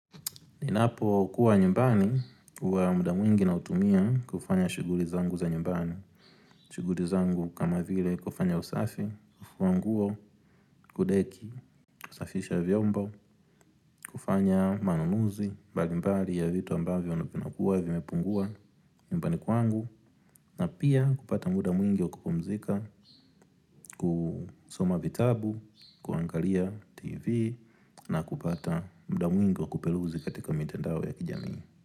Ninapo kuwa nyumbani huwa muda mwingi nautumia kufanya shuguli zangu za nyumbani. Shuguli zangu kama vile kufanya usafi, kufua nguo, kudeki, kusafisha vyombo, kufanya manunuzi, bali mbali ya vitu ambavyo huwa vimepungua nyumbani kwangu. Na pia kupata muda mwingi wa kupumzika, kusoma vitabu, kuangalia tv, na kupata muda mwingi wa kuperuzi katika mtendao ya kijamii.